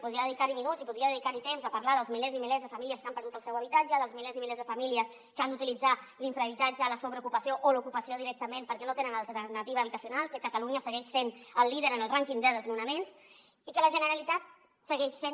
podria dedicar hi minuts i podria dedicar hi temps a parlar dels milers i milers de famílies que han perdut el seu habitatge dels milers i milers de famílies que han d’utilitzar l’infrahabitatge la sobreocupació o l’ocupació directament perquè no tenen alternativa habitacional que catalunya segueix sent líder en el rànquing de desnonaments i que la generalitat segueix fent